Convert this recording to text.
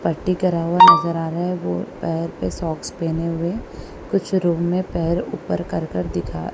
पट्टी करा हुआ नजर आ रहा है वो पैर पे सॉक्स पहने हुए हैं कुछ रूम में पैर ऊपर कर कर दिखा--